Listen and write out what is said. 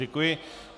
Děkuji.